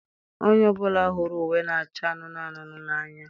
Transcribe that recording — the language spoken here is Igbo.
Onye ọ bụla hụrụ uwe na-acha anụnụ anụnụ n'anya